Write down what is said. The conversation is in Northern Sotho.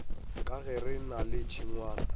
ka gere na le tšhengwana